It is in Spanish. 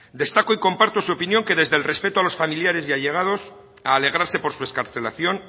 destaco y comparto su opinión que desde el respeto a los familiares y allegados a alegrarse por su excarcelación